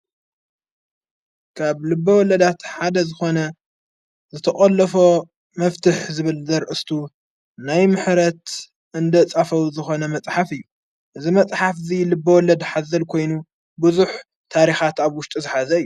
ካብ ልቢ ወለዳት ሓደ ዝኾነ ዝተቐሎፎ መፍትሕ ዝብልደር እስቱ ናይ ምህረት እንደ ጻፍዉ ዝኾነ መጽሓፍ እዩ እዝ መጽሓፍ እዙይ ልበ ወለድ ኃዘል ኮይኑ ብዙኅ ታሪኻት ኣብ ዉሽጡ ዝኃዘ እዩ።